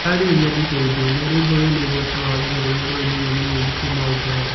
ndĩrarĩrĩria ndibei dune. rwimbo rwĩna igweta rwa raggae rũrĩa rũrainiro ni mũini kuuma ũngeretha.